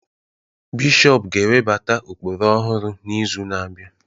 Bishọp ga-ewebata ụkpụrụ ọhụrụ n'izu na-abịa